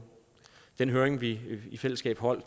den høring vi i fællesskab holdt